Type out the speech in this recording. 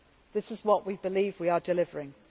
This is what we believe we are delivering.